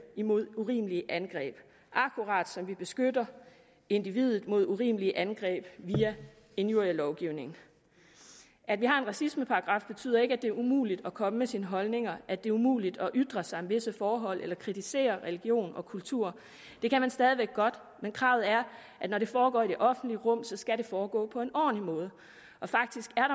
imod urimelige angreb akkurat som vi beskytter individet mod urimelige angreb via injurielovgivningen at vi har en racismeparagraf betyder ikke at det er umuligt at komme med sine holdninger at det er umuligt at ytre sig om visse forhold eller kritisere religion og kultur det kan man stadig væk godt men kravet er at når det foregår i det offentlige rum skal det foregå på en ordentlig måde og faktisk er